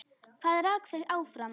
Hvað rak þau áfram?